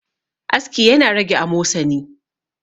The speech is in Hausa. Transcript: aski yana rage amosani